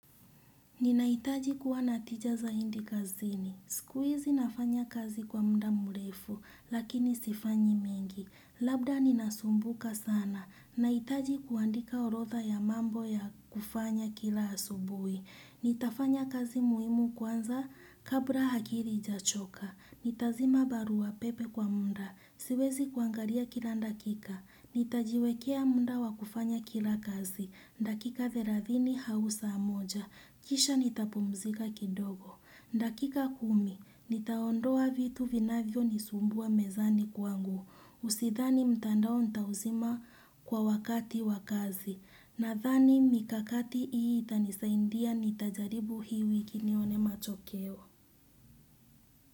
Ninahitaji kuwa na tija zaidi kazini. Siku hizi nafanya kazi kwa muda mrefu, lakini sifanyi mingi. Labda ninasumbuka sana. Nahitaji kuandika orodha ya mambo ya kufanya kila asubuhi. Nitafanya kazi muhimu kwanza kabla akili haijachoka nitazima barua pepe kwa muda siwezi kuangalia kila dakika nitajiwekea muda wa kufanya kila kazi dakika thelathini au saa moja kisha nitapumzika kidogo dakika kumi. Nitaondoa vitu vinavyo nisumbua mezani kwangu sidhani mtandao nitauzima kwa wakati wa kazi nadhani mikakti hii itanisaidia nitajaribu hii wiki nione matokeo.